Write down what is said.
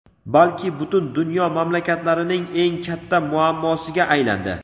balki butun dunyo mamlakatlarining eng katta muammosiga aylandi.